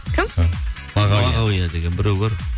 кім мағауия деген біреу бар